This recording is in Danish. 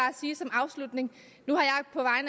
afslutning nu